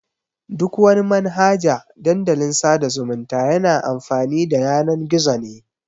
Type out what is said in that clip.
Duk wani Manhaja Dandalin sada zumunta yana amfani da Yanan-gizo ne.